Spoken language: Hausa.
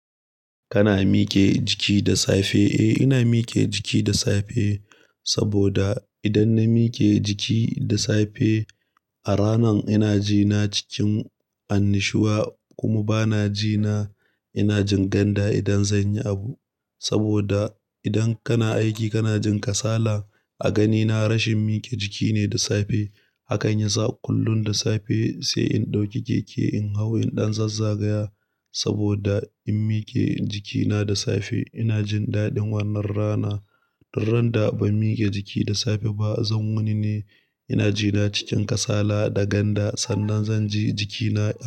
Kana mike jiki da safe? Eh ina mike jiki da safe saboda idan na mike jiki da safe, a rana ina ji na cikin annushuwa kuma bana ji na ina jin ganda idan zan yi abu. Saboda idan kana aiki kana jin kasala. A ganina rashin mike jiki ne da safe. Hakain yasa kullum da safe sai in ɗauki keke in hau in ɗan zazzagaya saboda in mike jikina da safe ina jin daɗin wannan rana. Duk randa ban mike jiki da safe ba zan wuni ne. Ina ji na cikin kasala da ganda. Sannan zan ji jikina.